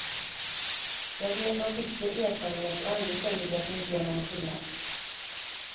Jag vet av bitter erfarenhet, och ändå säger du att det inte gör någon skillnad.